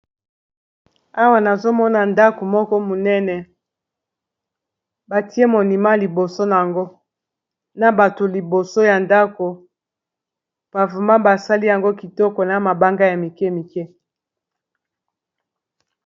awa nazomona ndako moko monene batie monima liboso na yango na bato liboso ya ndako pavema basali yango kitoko na mabanga ya mike mike